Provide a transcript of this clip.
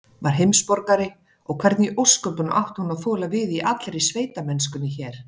Var heimsborgari, og hvernig í ósköpunum átti hún að þola við í allri sveitamennskunni hér?